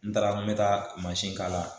N taara n bɛ taa mansin kala